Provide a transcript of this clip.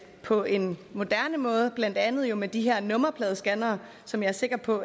på en moderne måde jo blandt andet med de her nummerpladescannere som jeg er sikker på